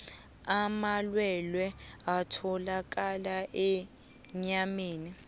amalwelwe atholakala enyameni